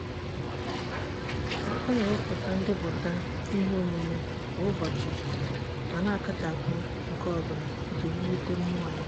ọ na-emepụta ndepụta iheomume kwa ụbọchị ma na-akachapụ nke ọbụla iji wulite mmụọ ya.